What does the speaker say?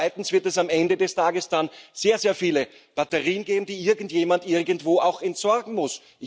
Und zweitens wird es am Ende des Tages dann sehr, sehr viele Batterien geben, die irgendjemand irgendwo auch entsorgen muss.